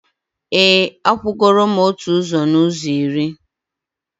e, akwụgoro m otu ụzọ n’ụzọ iri.